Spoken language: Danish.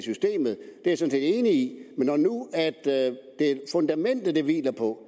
er set enig i men når nu fundamentet det hviler på